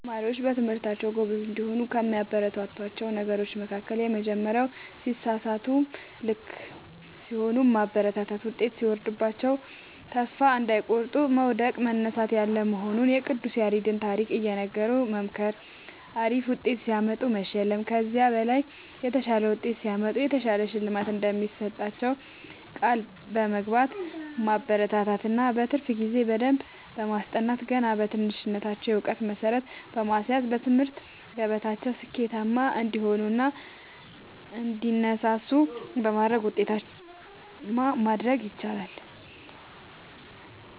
ተማሪዎች በትምህርታቸዉ ጎበዝ እንዲሆኑ ከሚያበረታቷቸዉ ነገሮች መካከል:- የመጀመሪያዉ ሲሳሳቱም ልክ ሲሆኑም ማበረታታት ዉጤት ሲወርድባቸዉም ተስፋ እንዳይቆርጡ መዉደቅ መነሳት ያለ መሆኑንና የቅዱስ ያሬድን ታሪክ እየነገሩ መምከር አሪፍ ዉጤት ሲያመጡ መሸለም ከዚህ በላይ የተሻለ ዉጤት ሲያመጡ የተሻለ ሽልማት እንደሚሰጧቸዉ ቃል በመግባት ማበረታታት እና በትርፍ ጊዜ በደንብ በማስጠናት ገና በትንሽነታቸዉ የእዉቀት መሠረት በማስያዝ በትምህርት ገበታቸዉ ስኬታማ እንዲሆኑ እና እንዲነሳሱ በማድረግ ዉጤታማ ማድረግ ይቻላል።